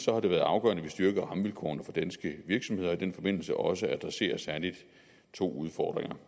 har det været afgørende at vi styrker rammevilkårene for danske virksomheder og i den forbindelse også adresserer særlig to udfordringer